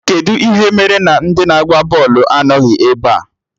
Kedụ ihe mere na ndị na-agba bọọlụ anọghị ebe a?